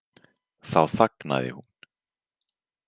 Þá þagnaði hún.